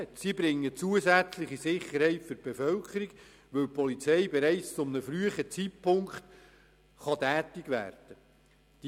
Sie bringen zusätzliche Sicherheit der Bevölkerung, weil die Polizei bereits zu einem frühen Zeitpunkt tätig werden kann.